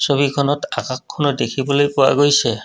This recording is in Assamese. ছবিখনত আকাশখনো দেখিবলৈ পোৱা গৈছে।